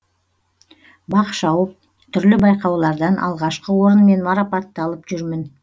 бақ шауып түрлі байқаулардан алғашқы орынмен марапатталып жүрмін